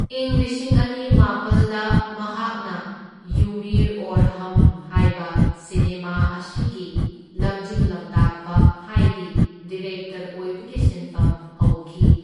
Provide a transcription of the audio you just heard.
ꯏꯪ ꯂꯤꯁꯤꯡ ꯑꯅꯤ ꯃꯥꯄꯜꯗ ꯃꯍꯥꯛꯅ ꯌꯨ ꯃꯤ ꯑꯧꯔ ꯍꯝ ꯍꯥꯢꯕ ꯁꯤꯅꯦꯃꯥ ꯑꯁꯤꯒꯤ ꯂꯝꯖꯤꯡ ꯂꯝꯇꯥꯛꯄ ꯍꯥꯢꯗꯤ ꯗꯤꯔꯦꯛꯇꯔ ꯑꯣꯢꯕꯒꯤ ꯁꯤꯟꯐꯝ ꯍꯧꯈꯤ꯫